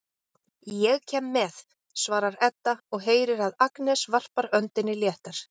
Ég kem með, svarar Edda og heyrir að Agnes varpar öndinni léttar.